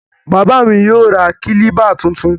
Bàbáà mi yóò ra kílíbà tuntun.